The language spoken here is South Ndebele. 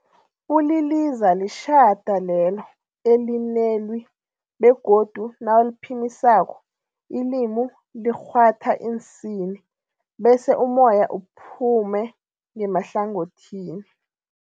Uliliza litjhada lelo elinelwi begodu nawuliphimisako ilimi likghwatha iinsini bese umoya uphume ngemahlangothini.